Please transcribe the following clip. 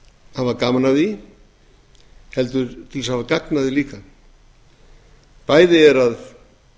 hafa gaman af því heldur til að hafa gagn af því líka bæði er að